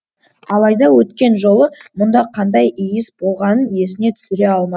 алайда өткен жолы мұнда қандай иіс болғанын есіне түсіре алма